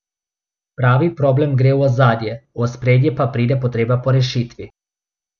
Pravi problem gre v ozadje, v ospredje pa pride potreba po rešitvi.